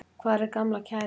Hvar er gamla kærastan?